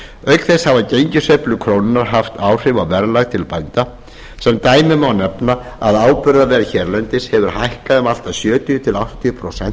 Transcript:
auk þess hafa gengissveiflur íslensku krónunnar haft áhrif á verðlag til bænda sem dæmi má nefna að áburðarverð hérlendis hefur hækkað um allt að sjötíu til áttatíu prósent